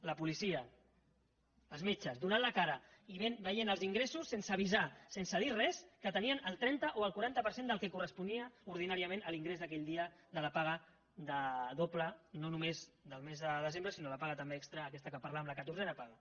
la policia els metges donant la cara i veient els ingressos sense avisar sense dir res que tenien el trenta o el quaranta per cent del que corresponia ordinàriament a l’ingrés d’aquell dia de la paga doble no només del mes de desembre sinó la paga també extra aquesta que parlàvem la catorzena paga